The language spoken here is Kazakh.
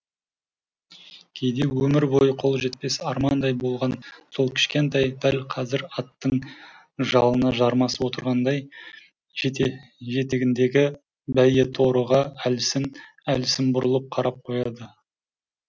кейде өмір бойы қол жетпес армандай болған сол кішкентай дәл қазір аттың жалына жармасып отырғандай жетегіндегі бәйгеторыға әлсін әлсін бұрылып қарап қояды